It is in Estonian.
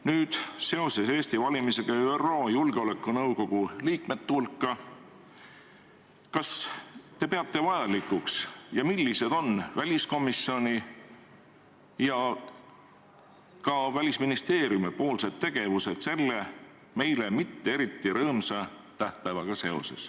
Nüüd, seoses Eesti valimisega ÜRO Julgeolekunõukogu liikmete hulka, öelge, millised on väliskomisjoni ja Välisministeeriumi tegevused selle meile mitte eriti rõõmsa tähtpäevaga seoses.